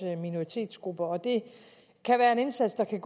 minoritetsgrupper det kan være en indsats der kan